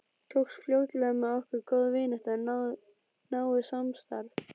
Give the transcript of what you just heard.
Tókst fljótlega með okkur góð vinátta og náið samstarf.